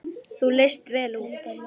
Þú leist vel út.